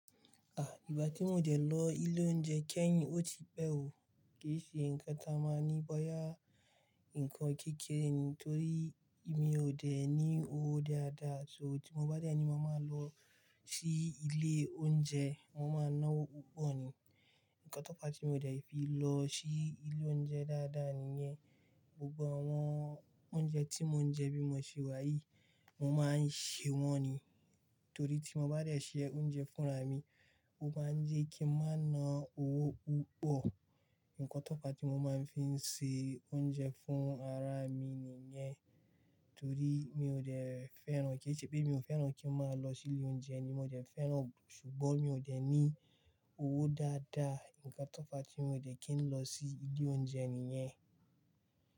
Ah! Ìbá tí mò ń dẹ lọ ilé oúnjẹ kẹ́yìn ó ti pẹ́ òó, kí ṣe nǹkan tí máa ní bóyá nǹkan kékeré ni torí mi ò dẹ̀ ní owó dáadáa. So tí mo bá dẹ̀ ní, mo máa lọ sí ilé oúnjẹ, mo n máa ná owó púpọ̀ ni. Ǹkan tó pa tí mò ń jẹ fi lọ sí ilé oúnjẹ dáadáa nìyẹn. Gbogbo àwọn oúnjẹ tí mò ń jẹ bí mo ṣe wá yìí, mo máa ń sè wọ́n ni. Torí tí mo bá dẹ̀ sè oúnjẹ fúnra mi, ó máa ń jẹ́ kí n máa ná owó púpọ̀. Ǹkan tó pa tí mo máa ń fi ṣe oúnjẹ fún ara mi nìyẹn. Torí mi ò dẹ̀ fẹ́ràn kí-- kí i ṣe pé mi ò fẹ́ràn kí ń máa lọ sí ilé oúnjẹ ni, mò ń dẹ̀ fẹ́ràn, ṣùgbọ́n mi ò dẹ̀ ní owó dáadáa. Ǹkan tó pa tí mò ń jẹ kì í lọ sí ilé oúnjẹ nìyẹn.